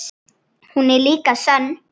Hún er líka sönn.